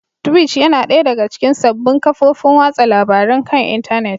Twitch yana ɗaya daga cikin sabbin kafofin watsa labarun kan intanet